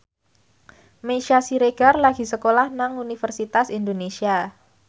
Meisya Siregar lagi sekolah nang Universitas Indonesia